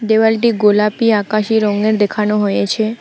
দেওয়ালটি গোলাপি আকাশি রঙের দেখানো হয়েছে।